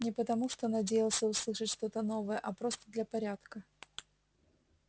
не потому что надеялся услышать что-то новое а просто для порядка